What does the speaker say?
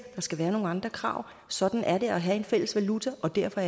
der skal være nogle andre krav sådan er det at have en fælles valuta og derfor